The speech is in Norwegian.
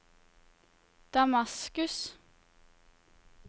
Damaskus